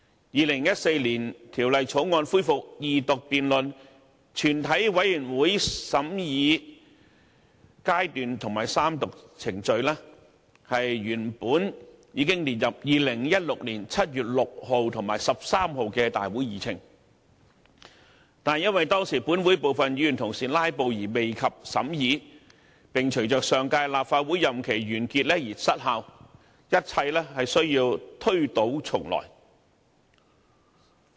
2014年《條例草案》恢復二讀辯論、全體委員會審議階段及三讀程序原本已列入2016年7月6日及13日的立法會會議議程，但因為當時本會部分議員"拉布"而未及審議，並隨着上屆立法會任期完結而失效，一切需要推倒重來。